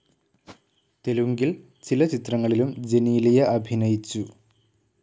തെലുങ്കിൽ ചില ചിത്രങ്ങളിലും ജെനീലിയ അഭിനയിച്ചു.